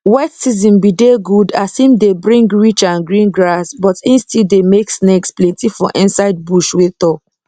wet season be de good as im de bring rich and green grass but e still de make snakes plenty for inside bush wey tall